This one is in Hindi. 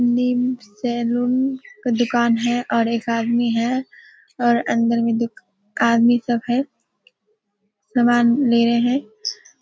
मेन सैलून का दुकान है और एक आदमी है और अंदर में दू आदमी सब है। सामान ले रहें हैं।